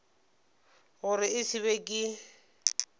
gore e se be ke